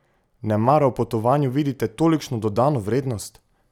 Nemara v potovanju vidite tolikšno dodano vrednost?